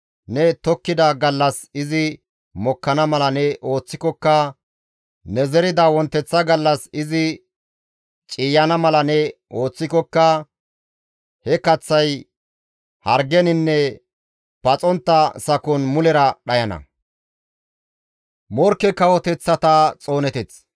ne tokkida gallas izi mokkana mala ne ooththikokka, ne zerida wonteththa gallas izi ciiyana mala ne ooththikokka he kaththay hargeninne paxontta sakon mulera dhayana.